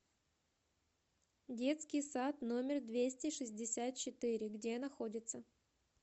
детский сад номер двести шестьдесят четыре где находится